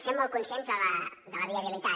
sent molt conscients de la viabilitat